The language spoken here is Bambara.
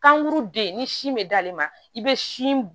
Kankuru den ni sin bɛ d'ale ma i bɛ sin